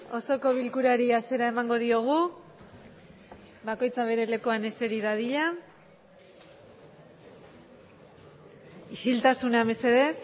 osoko bilkurari hasiera emango diogu bakoitza bere lekuan eseri dadila isiltasuna mesedez